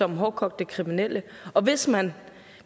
hårdkogte kriminelle og hvis man